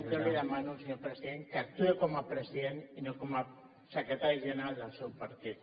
jo li demano senyor president que actuï com a presi·dent i no com a secretari general del seu partit